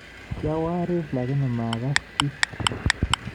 Kiawariir lakini makasa chii